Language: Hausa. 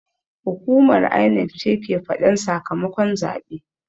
Hukumar INEC ce ke faɗan sakamakon zaɓe